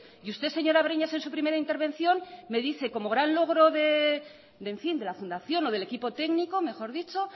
y usted señor breñas en su primera intervención me dice como gran logro de la fundación o del equipo técnico mejor dicho